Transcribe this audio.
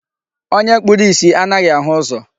Onye kpuru isi anaghị ahụ ụzọ.